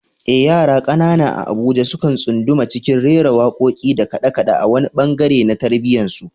Eh, yara kanana a Abuja sukan tsunduma cikin rera wakoki da kade-kade a wani bangare na tarbiyyarsu.